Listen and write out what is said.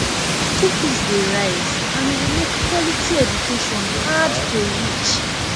school fees dey rise and e dey make quality education hard to reach